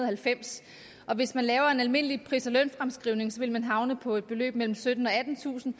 halvfems hvis man laver en almindelig pris og lønfremskrivning vil man havne på et beløb på mellem syttentusind og